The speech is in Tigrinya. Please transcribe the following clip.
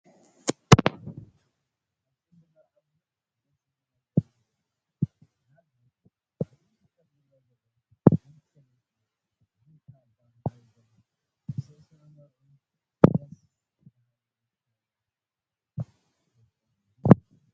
ኣብ ፅምብል መርዓ ብዙሕ ደስ ዝብል ነገር እዩ ዝርአ፡፡ ንኣብነት ኣብቲ ምስሊ ከምዝርአ ዘሎ ሓንቲ ሰበይቲ ብካባ ማዕሪጎም ንዝስዕስዑ መርዑ ብደስ በሃሊ መኸምቢያ ተፅምብሎም ኣላ፡፡